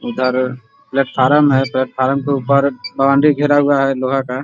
इधर प्लेटफार्म है | प्लेटफार्म के ऊपर बाउंड्री घेरा हुआ है लोहा का |